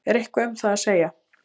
Eitthvað um það að segja?